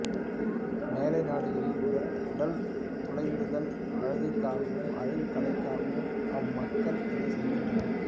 மேலைநாடுகளில் உடல் துளையிடுதல் அழகுக்காகவும் அழகு கலைக்காகவும் அம்மக்கள் இதை செய்கின்றனர்